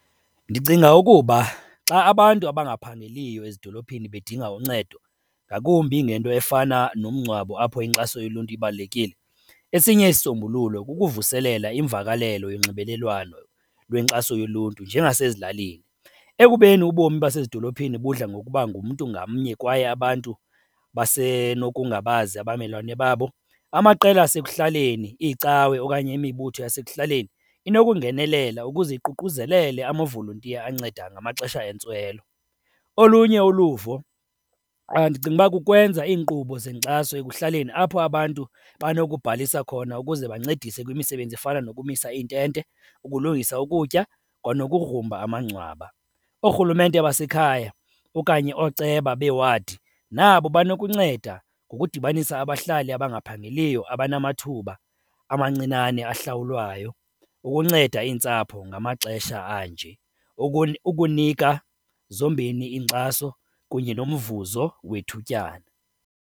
Ndicinga ukuba xa abantu abangaphangeliyo ezidolophini bedinga uncedo, ngakumbi ngento efana nomngcwabo apho inkxaso yoluntu ibalulekile, esinye isisombululo kukuvuselela imvakalelo yonxibelelwano lwenkxaso yoluntu njengasezilalini. Ekubeni ubomi basezidolophini budla ngokuba ngumntu ngamnye kwaye abantu basenokungabazi abamelwane babo, amaqela asekuhlaleni, iicawe okanye imibutho yasekuhlaleni inokungenelela ukuze iququzelele amavolontiya anceda ngamaxesha entswelo. Olunye uluvo, ndicinga uba kukwenza iinkqubo zenkxaso ekuhlaleni apho abantu banokubhalisa khona ukuze bancedise kwimisebenzi efana nokumisa iintente, ukulungisa ukutya kwanogrumba amangcwaba. Oorhulumente basekhaya okanye ooceba beewadi, nabo banokunceda ngokudibanisa abahlali abangaphangeliyo abanamathuba amancinane ahlawulwayo ukunceda iintsapho ngamaxesha anje ukunika zombini iinkxaso kunye nomvuzo wethutyana.